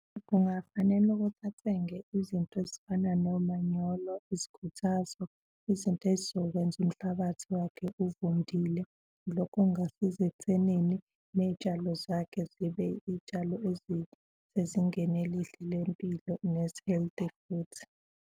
Kungafanele ukuthi athenge izinto ezifana nomanyolo, izikhuthazo izinto ezizokwenza umhlabathi wakhe uvundile. Lokho kungasiza ekuthenini ney'tshalo zakhe zibe iy'tshalo ezisezingeni elihle lempilo nezi-healthy futhi.